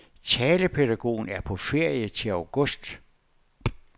Talepædagogen er på ferie til august.